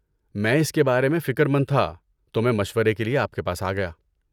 میں اس کے بارے میں فکر مند تھا، تو میں مشورے کے لیے آپ کے پاس آ گیا۔